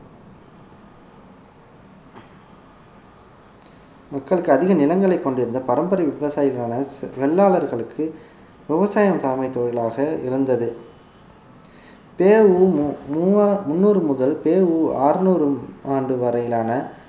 மக்களுக்கு அதிக நிலங்களைக் கொண்டிருந்த பரம்பரை விவசாயிகளான வெள்ளாளர்களுக்கு விவசாயம் தலைமை தொழிலாக இருந்தது பெ உ மு முவா~ முந்நூறு முதல் பெ உ மு அறுநூறு ஆண்டு வரையிலான